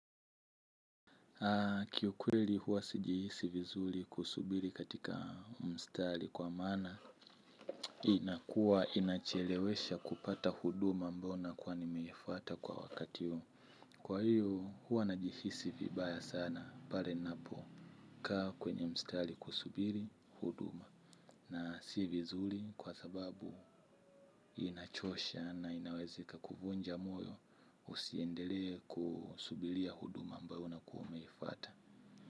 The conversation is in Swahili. Kiukweli huwa sijihisi vizuri kusubiri katika mstari kwa maana inakuwa inachelewesha kupata huduma mbona kwa nimeifuata kwa wakati huu. Kwa hiyo huwa najihisi vibaya sana pale ninapokaa kwenye mstari kusubiri huduma. Na si vizuri kwa sababu inachosha na inaweza ikakuvunja moyo usiendelee kusubiria huduma ambayo unakua umeifuata.